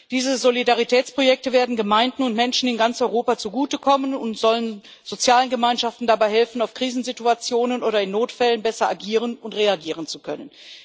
Diese Solidaritätsprojekte werden Gemeinden und Menschen in ganz Europa zugutekommen und sollen sozialen Gemeinschaften dabei helfen, auf Krisensituationen oder in Notfällen besser agieren und reagieren zu können.